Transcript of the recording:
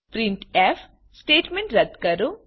printf print f statement રદ કરો